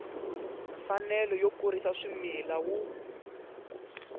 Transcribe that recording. mfanelo yo kurisa swimila wu